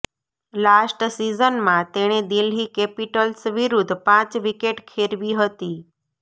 last સિઝનમાં તેણે Delhi capitals વિરુદ્ધ પાંચ વિકેટ ખેરવી હતી